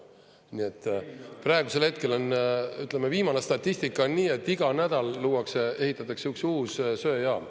Nii et praegusel hetkel on, ütleme, viimane statistika on nii, et iga nädal luuakse, ehitatakse üks uus söejaam.